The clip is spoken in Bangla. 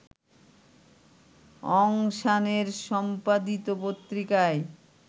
অং সানের সম্পাদিত পত্রিকায়